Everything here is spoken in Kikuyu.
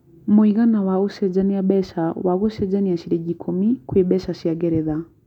mũigana wa ũcenjanĩa mbeca wa gũcenjia ciringi ikũmi kwĩ mbeca cia ngeretha